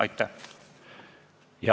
Aitäh!